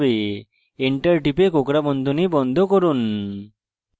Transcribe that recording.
enter টিপে কোঁকড়া বন্ধনী বন্ধ করুন